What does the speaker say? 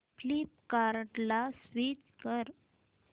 फ्लिपकार्टं ला स्विच कर